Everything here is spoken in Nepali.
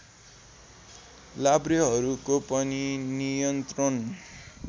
लाभ्रेहरूको पनि नियन्त्रण